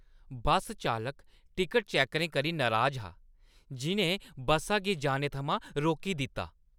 बस चालक टिकट-चैक्करें करी नराज हा, जि'नें बस्सा गी जाने थमां रोकी दित्ता।